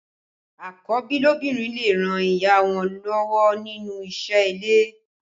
Àkọ́bí lóbìnrin lè ràn ìyá wọn lọ́wọ́ nínú isẹ́ ilé